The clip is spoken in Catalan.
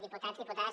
diputats diputades